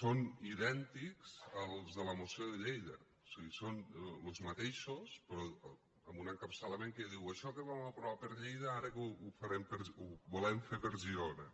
són idèntics als de la moció de lleida o sigui són los mateixos amb un encapçalament que diu això que vam aprovar per lleida ara ho farem ho volem fer per girona